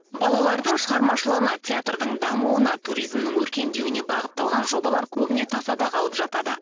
балалардың шығармашылығына театрдың дамуына туризмнің өркендеуіне бағытталған жобалар көбіне тасада қалып жатады